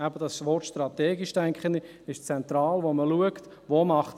Ich denke, es ist eben auch strategisch zentral, zu schauen, wo es Sinn macht.